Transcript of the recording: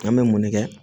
An bɛ mun ne kɛ